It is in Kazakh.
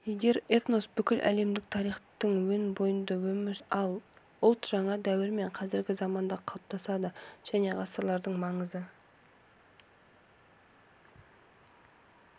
егер этнос бүкіл әлемдік тарихтың өн бойында өмір сүрсе ал ұлт жаңа дәуір мен қазіргі заманда қалыптасады және ғасырлардың маңызды